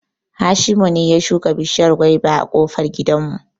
Hashimu ne ya shuka bishiyar gwaiba a ƙofar gidan mu